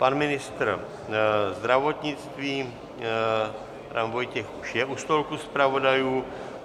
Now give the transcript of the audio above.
Pan ministr zdravotnictví Adam Vojtěch už je u stolku zpravodajů.